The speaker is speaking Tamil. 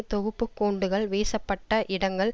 தொகுப்பு குண்டுகள் வீசப்பட்ட இடங்கள்